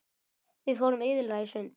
Við fórum iðulega í sund.